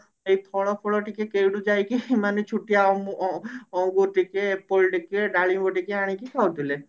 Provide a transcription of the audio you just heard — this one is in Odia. ଏଇ ଫଳ ଫୁଳ ଟିକେ କେଉଠୁ ଯାଇକି ମାନେ ଛୁଟିଆ ଅମ ଅ ଅଙ୍ଗୁର ଟିକେ apple ଟିକେ ଡାଳିମ୍ବ ଟିକେ ଆଣିକି ଖାଉଥିଲେ